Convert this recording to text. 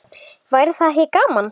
Væri það ekki gaman?